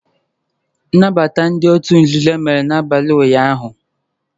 Nnabata ndị òtù nzuzo a mere n'abalị ụnyahụ